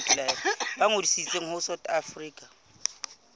ba ngodise ho south african